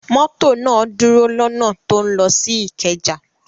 Mọ́tò náà dúró lọ́nà tó ń lọ sí Ìkẹjà.